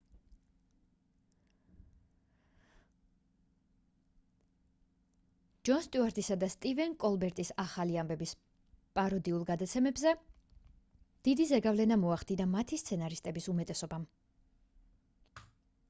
ჯონ სტიუარტისა და სტივენ კოლბერტის ახალი ამბების პაროდიულ გადაცემებზე დიდი ზეგავლენა მოახდინა მათი სცენარისტების უმეტესობამ